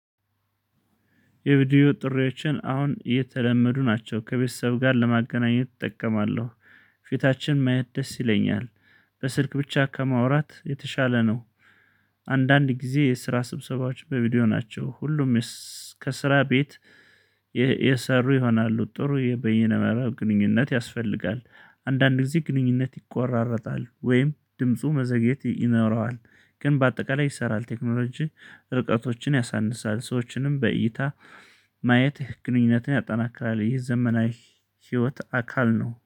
የቪዲዮ ጥሪዎችን አሁን እየተለመዱ ናቸው ከቤተሰብ ጋር ለማገናኘት እጠቀማለሁ ፊታችን መየት ደስ ይለኛል። በስልክ ብቻ ከማውራት የተሻለ ነው። አንዳንድ ጊዜ የስራ ስብሰባዎች በቪዲዮ ናቸው። ሁሉም ከስራ ቤት የሰሩ ይሆናሉ ጥሩ የበየነ መረብ ግንኙነት ያስፈልጋል። አንዳንድ ጊዜ ግንኙነት ይቆራረጣል ወይም ድምፁ መዘግየት ይኖረዋል። ግን በአጠቃላይ ይሰራል ቴክኖሎጂ። ርቀቶችን ያሳንሳል ሰዎችንም በእይታ ማየትህ ግንኙነትን ያጠናክራል። ይህ የዘመናዊ ህይወት አካል ነው